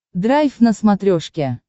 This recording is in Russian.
драйв на смотрешке